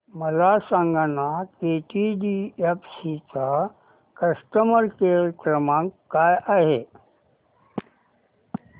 मला सांगाना केटीडीएफसी चा कस्टमर केअर क्रमांक काय आहे